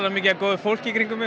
mikið af góðu fólki í kringum mig